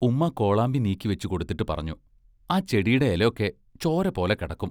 ഉമ്മാ കോളാമ്പി നീക്കിവെച്ചുകൊടുത്തിട്ട് പറഞ്ഞു: ആ ചെടീടെ എലൊക്കെ ചോരപോലെ കെടക്കും.